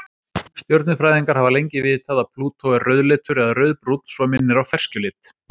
Stjörnufræðingar hafa lengi vitað að Plútó er rauðleitur eða rauðbrúnn svo minnir á ferskjulit.